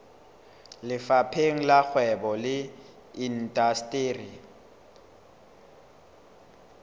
lefapheng la kgwebo le indasteri